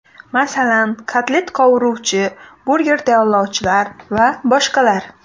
Masalan, kotlet qovuruvchi, burger tayyorlovchilar va boshqalar.